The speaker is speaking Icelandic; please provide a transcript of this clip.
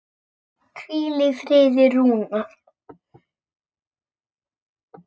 Hvíl í friði Rúnar.